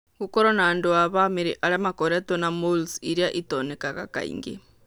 Gũkorũo na andũ a bamĩrĩ arĩa makoretwo na moles iria itonekaga kaingĩ.